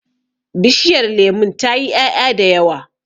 Bishiyar lemun tayi 'ya'ya da yawa.